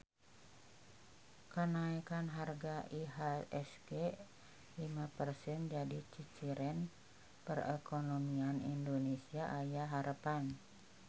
Kanaekan harga IHSG lima persen jadi ciciren perekonomian Indonesia aya harepan